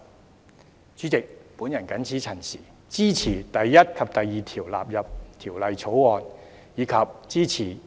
代理主席，我謹此陳辭，支持第1及2條納入《條例草案》，以及支持《條例草案》三讀。